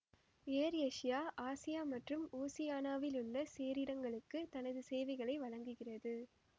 air Asia ஆசியா மற்றும் ஓசியானியாவிலுள்ள சேரிடங்களுக்கு தனது சேவைகளை வழங்குகிறது